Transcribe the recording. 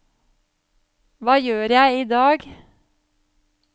hva gjør jeg idag